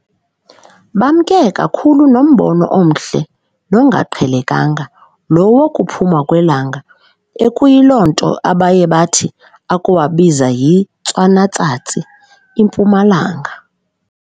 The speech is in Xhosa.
Bemke kakhulu nombono omhle nongaqhelekanga, lo wokuphuma kwelanga, ekuyiloo nto abaye bathi ukuwubiza yiNtswana-tsatsi, impuma-langa.